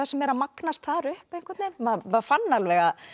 sem er að magnast þar upp maður fann alveg að